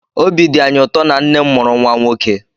Obi dị anyị ụtọ na nne m mụrụ nwa nwoke